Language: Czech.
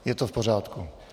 Je to v pořádku.